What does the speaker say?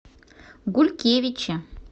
гулькевичи